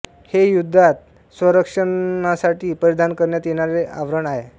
हे युद्धात स्वसंरक्षणासाठी परिधान करण्यात येणारे आवरण आहे